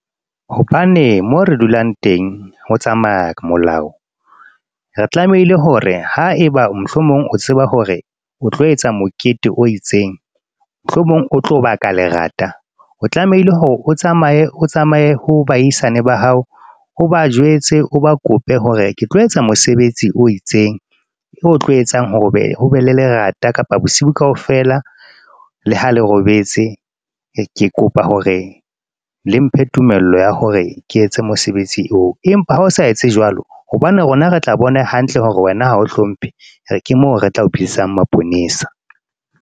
Hobane moo re dulang teng ho tsamaya molao. Re tlamehile hore ha eba mohlomong o tseba hore o tlo etsa mokete o itseng, mohlomong o tlo ba ka lerata. O tlamehile hore o tsamaye o tsamaye ho baahisane ba hao, o ba jwetse, o ba kope hore ke tlo etsa mosebetsi o itseng o tlo etsang hore hobe le lerata kapa bosiu kaofela le ha lerobetse ke kopa hore le mphe tumello ya hore ke etse mosebetsi eo. Empa ha o sa etse jwalo hobane rona re tla bona hantle hore wena ha o hlomphe, ke mo re tla o bitsetsang maponesa.